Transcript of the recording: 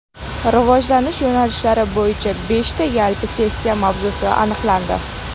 Rivojlanish yo‘nalishlari bo‘yicha beshta yalpi sessiya mavzusi aniqlandi.